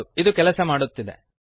ಹೌದು ಇದು ಕೆಲಸ ಮಾಡುತ್ತಿದೆ